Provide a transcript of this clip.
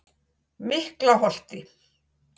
Miklaholti